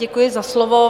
Děkuji za slovo.